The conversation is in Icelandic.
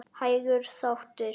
Hægur þáttur